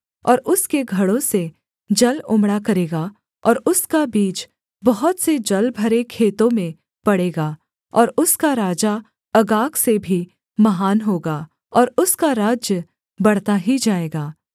और उसके घड़ों से जल उमड़ा करेगा और उसका बीज बहुत से जलभरे खेतों में पडे़गा और उसका राजा अगाग से भी महान होगा और उसका राज्य बढ़ता ही जाएगा